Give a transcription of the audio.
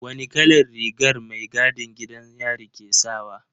Wane kalar rigar mai gadin gidan yari ke sawa?